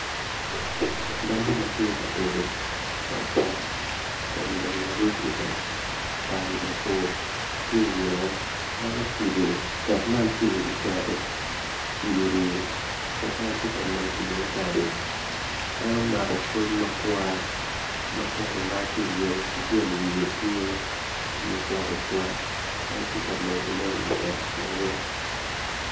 Dako ma tye ka tedo pot dek kun larub idek tye mabor en ocibo dek man tye i wi keno cigiri ma en tye ka medo iye kado en omako koc makwar ma gin wiye tye ma ocwak ocwak en tye ka medono i dek ma mege.